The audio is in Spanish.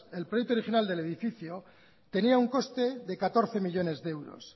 el proyecto original del edificio tenía un coste de catorce millónes de euros